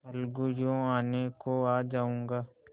अलगूयों आने को आ जाऊँगा